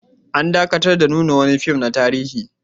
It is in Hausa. An dakatar da nuna wani fim na tarihi